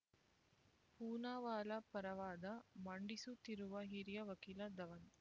ಪೂನಾವಾಲಾ ಪರವಾದ ಮಂಡಿಸುತ್ತಿರುವ ಹಿರಿಯ ವಕೀಲ ದವನ್